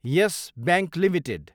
yes Bank Ltd